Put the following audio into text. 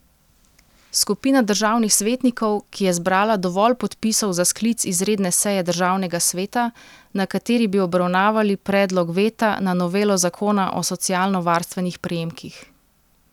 Skupina državnih svetnikov, ki je zbrala dovolj podpisov za sklic izredne seje državnega sveta, na kateri bi obravnavali predlog veta na novelo zakona o socialnovarstvenih prejemkih.